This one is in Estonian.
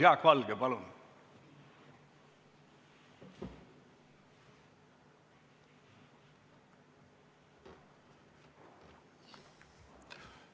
Jaak Valge, palun!